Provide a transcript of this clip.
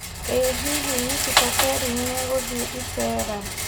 ĩ hihi Nikita Kering nĩeguthĩ ĩceera